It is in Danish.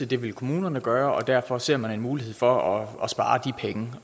det vil kommunerne gøre og derfor ser man en mulighed for at spare de penge